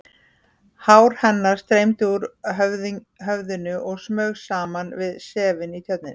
Hár hennar streymdi úr höfðinu og smaug saman við sefið í Tjörninni.